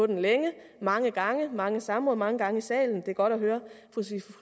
den længe mange gange i mange samråd mange gange i salen det er godt at høre